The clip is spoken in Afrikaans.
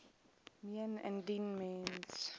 meen indien mens